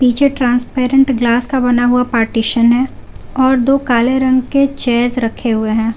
पीछे transparent glass का बना हुआ पार्टीशन है और दो काले रंग के चेयर्स रखे हुए हैं।